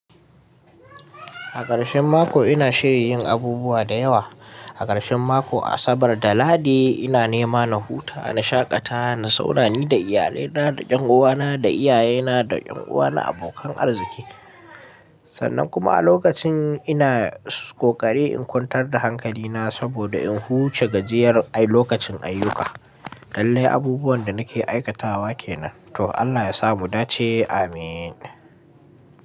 A ƙarshen mako ina shirin yin abubuwa da yawa. A ƙarshen mako, Asabar da Lahadi, ina nema na huta, na shaƙata, na zauna ni da iyalina, da 'yan uwana, da iyayena, da 'yan uwa na abokan arziki. Sannan kuma a lokacin ina ƙoƙari in kwantar da hankalina saboda in huce gajiyar lokacin ayyuka. Lallai abubuwan da nake aikatawa kenan, to Allah ya sa mudace ameen.